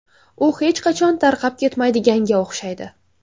U hech qachon tarqab ketmaydiganga o‘xshaydi.